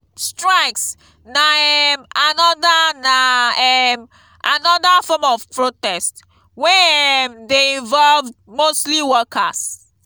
strikes na um another na um another form of protest wey um de invoved mostly workers